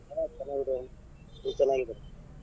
ಹಾ ಚೆನ್ನಾಗಿದ್ದೇವೆ ನೀವ್ ಚೆನ್ನಾಗಿದ್ದೀರಾ?